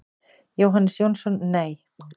Jóhannes Jónsson: Nei.